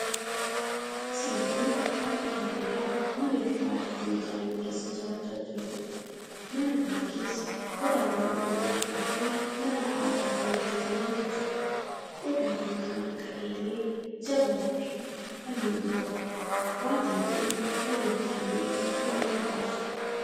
Isaan kun maatii baadiyaa mana bifa aadaatiin ijaarame keessa jiraachaa jiraniidha. Mana kana keessa qodaawwan ogummaa harkaatiin mala aadaatiin hojjetamantu jira. Qodaawwan kan akka eelee, jabanaafi kanneen biroo. Maatiin kun waliin ta'anii buna dhugaa jiru.